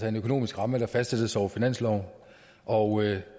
en økonomisk ramme der fastsættes over finansloven og